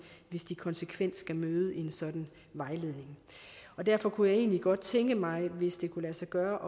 hvis de konsekvent skal møde en sådan vejledning derfor kunne jeg egentlig godt tænke mig hvis det kunne lade sig gøre